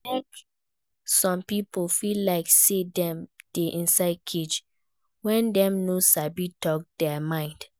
E de make some pipo feel like say dem de inside cage when dem no sabi talk their mind